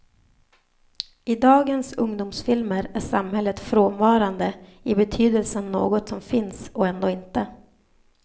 I dagens ungdomsfilmer är samhället frånvarande, i betydelsen något som finns och ändå inte.